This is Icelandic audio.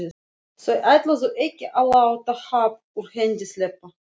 Þau ætluðu ekki að láta happ úr hendi sleppa.